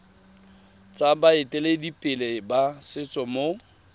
tsa baeteledipele ba setso mo